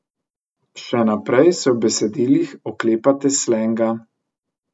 Še naprej se v besedilih oklepate slenga.